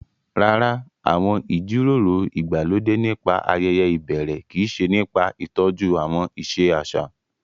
Rárá, àwọn ìjíròrò ìgbàlódé nípa ayeye ìbẹ̀rẹ̀ kii se nipa ìtọ́jú àwọn ìṣe àṣà